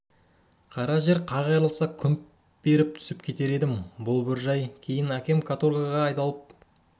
қара жер қақ айырылса күмп беріп түсіп кетер едім бұл бір жай кейін әкем каторгаға айдалып